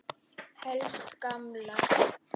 Helst gamlar.